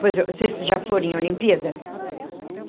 Vocês já foram em Olimpíadas?